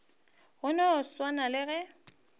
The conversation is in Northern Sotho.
go no swana le ge